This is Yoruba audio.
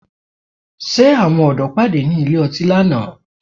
Ṣé Àwọn ọ̀dọ́ pàdé ní ilé ọtí lánàá?